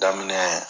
Daminɛ